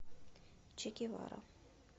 чегевара